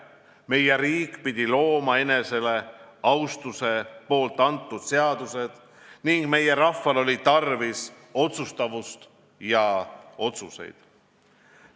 Meie riik pidi looma enese asutuste antud seadused ning meie rahval oli tarvis otsustavust ja otsuseid.